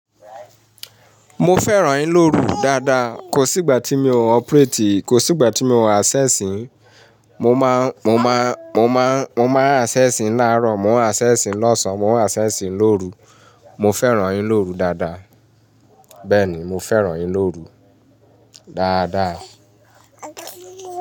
Mo fẹ́ràn ìlorú dáadáa. Kò sígbà tí mi ò operate, kò sígbà tí mi ò access sin. Mo máa n, mo máa, mo máa n, mo máa n access n láàrọ̀, mo ń acess n lọ́sàn-án, mo ń access n lóru. Mo fẹ́ràn ìlorú dáadáa. Bẹ́ẹ̀ni, mo fẹ́ràn ìlorú dáadáa.